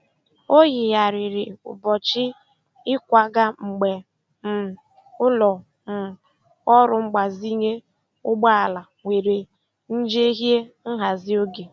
Ọ yigharịrị ụbọchị ịkwaga mgbe um ụlọ um ọrụ mgbazinye ụgbọ ala nwere njehie nhazi oge.